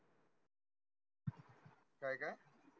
काय काय?